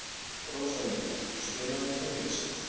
Rósalind, spilaðu tónlist.